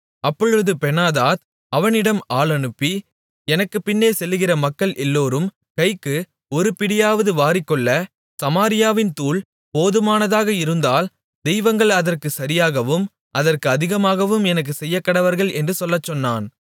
அப்பொழுது பெனாதாத் அவனிடம் ஆள் அனுப்பி எனக்குப் பின்னே செல்லுகிற மக்கள் எல்லோரும் கைக்கு ஒரு பிடியாவது வாரிக்கொள்ள சமாரியாவின் தூள் போதுமானதாக இருந்தால் தெய்வங்கள் அதற்குச் சரியாகவும் அதற்கு அதிகமாகவும் எனக்குச் செய்யக்கடவர்கள் என்று சொல்லச்சொன்னான்